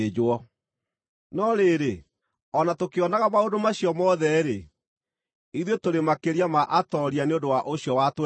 No rĩrĩ, o na tũkĩonaga maũndũ macio mothe-rĩ, ithuĩ tũrĩ makĩria ma atooria nĩ ũndũ wa ũcio watwendire.